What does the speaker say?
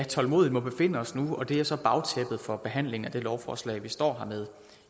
tålmodigt må befinde os nu og det er så bagtæppet for behandlingen af det lovforslag vi står med